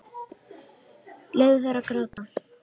Leyfðu þér að gráta.